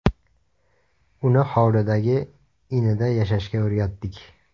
Uni hovlidagi inida yashashga o‘rgatdik.